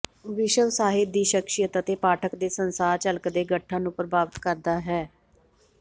ਵਿਸ਼ਵ ਸਾਹਿਤ ਦੀ ਸ਼ਖ਼ਸੀਅਤ ਅਤੇ ਪਾਠਕ ਦੇ ਸੰਸਾਰ ਝਲਕ ਦੇ ਗਠਨ ਨੂੰ ਪ੍ਰਭਾਵਿਤ ਕਰਦਾ ਹੈ